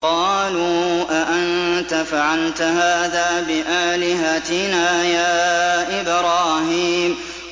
قَالُوا أَأَنتَ فَعَلْتَ هَٰذَا بِآلِهَتِنَا يَا إِبْرَاهِيمُ